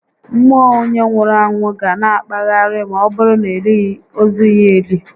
Mmụọ onyé nwụrụ anwụ ga na akpagharị ma ọbụrụ na elighi ozu ya eli